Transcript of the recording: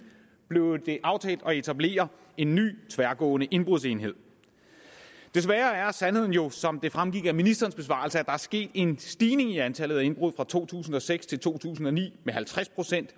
blev det aftalt at etablere en ny tværgående indbrudsenhed desværre er sandheden jo som det fremgik af ministerens besvarelse at der er sket en stigning i antallet af indbrud fra to tusind og seks til to tusind og ni med halvtreds